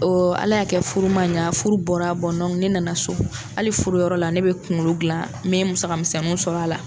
Ala y'a kɛ furu man ɲa furu bɔra ne nana so hali furu yɔrɔ la ne bɛ kunkolo gilan n mɛ musaka misɛnninw sɔrɔ a la.